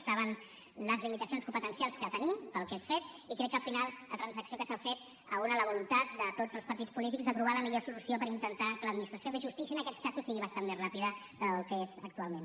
saben les limitacions competencials que tenim per a aquest fet i crec que al final la transacció que s’ha fet uneix la voluntat de tots els partits polítics de trobar la millor solució per intentar que l’administració de justícia en aquests casos sigui bastant més ràpida del que és actualment